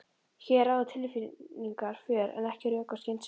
Hér ráða tilfinningarnar för en ekki rök og skynsemi.